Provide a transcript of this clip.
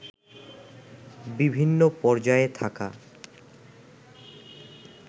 বিভিন্ন পর্যায়ে থাকা